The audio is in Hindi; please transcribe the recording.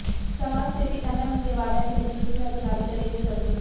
समाजसेवी एमएम मेवाडा के नेतृत्व में अधिकारी करेंगे सर्वे